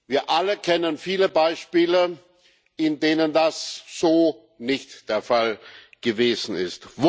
Wir alle kennen viele Beispiele, in denen das so nicht der Fall gewesen ist.